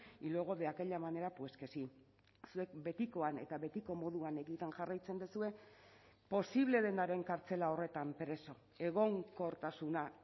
y luego de aquella manera pues que sí zuek betikoan eta betiko moduan egiten jarraitzen duzue posible denaren kartzela horretan preso egonkortasuna